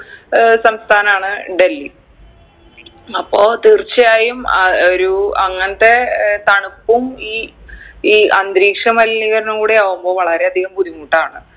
ഏർ സംസ്ഥാനാണ് ഡൽഹി അപ്പോ തീർച്ചയായും അഹ് ഒരു അങ്ങൻത്തെ ഏർ തണുപ്പും ഈ ഈ അന്തരീക്ഷ മലിനീകരണവും കൂടി ആവുമ്പൊ വളരെ അധികം ബുദ്ധിമുട്ടാണ്